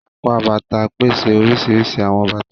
Apá Bàtà pèsè oríṣiríṣi awọn bàtà.